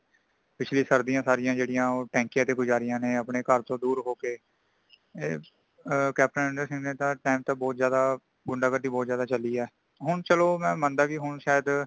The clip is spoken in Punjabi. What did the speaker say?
ਪਿਛਲੀ ਸਰਦੀਆਂ ਸਾਰੀਆਂ ਜੇੜੀਆਂ ਟੈਂਕੀਆਂ ਤੇ ਗੁਜਾਰਿਆ ਨੇ ਅਪਣੇ ਘਰ ਚੋ ਦੂਰ ਹੋਕੇ। ਏ ਕੈਪਟਨ ਅਮਰਿੰਦਰ ਸਿੰਘ ਦੇ time ਤੇ ਬਹੁਤ ਜ਼ਿਆਦਾ ਗੁੰਡਾਗਰਦੀ ਬਹੁਤ ਜਿਆਦਾ ਚਲੀ ਹੈ |ਹੋਨ ਚਲੋ ਮੇਂ ਮੰਦਾ ਕਿ ਹੁਣ ਸ਼ਾਇਦ